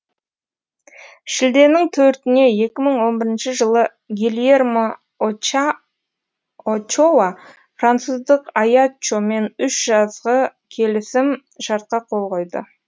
шілденің төртіне екі мың он бірінші жылы гильермо очоа француздық аяччомен үш жазғы келісім шартқа қол қойды